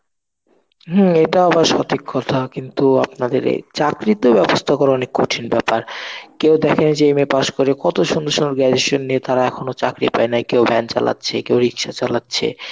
হমম এটা আবার সঠিক কথা. কিন্তু আপনাদের এই চাকরিতে ব্যবস্থা করা অনেক কঠিন ব্যাপার. কেউ দেখে যে MA pass করে কত সুন্দর সুন্দর graduation নিয়ে তারা এখনো চাকরি পায় নাই কেউ ভ্যান চালাচ্ছে, কেউ রিকশা চালাচ্ছে.